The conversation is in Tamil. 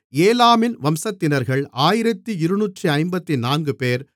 ஏலாமின் வம்சத்தினர்கள் 1254 பேர்